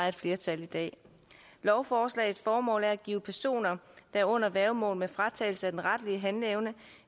er et flertal i dag lovforslagets formål er at give personer der er under værgemål med fratagelse af den retlige handleevne